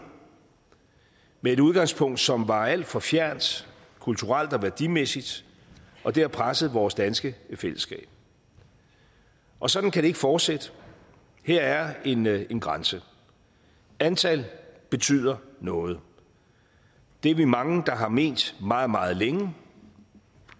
med et udgangspunkt som var alt for fjernt kulturelt og værdimæssigt og det har presset vores danske fællesskab og sådan kan det ikke fortsætte her er en er en grænse antal betyder noget det er vi mange der har ment meget meget længe